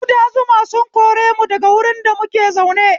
Kuda zuma sun koremu daga wurin da muke zaune